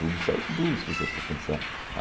Tudo saiu do blues, se você for pensar.